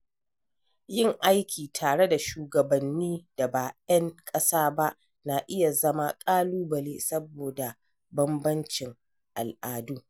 Yin aiki tare da shugabanni da ba 'yan ƙasa ba, na iya zama ƙalubale saboda bambancin al’adu.